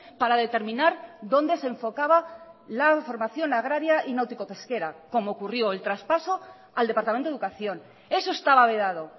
para determinar dónde se enfocaba la formación agraria y náutico pesquera como ocurrió el traspaso al departamento de educación eso estaba vedado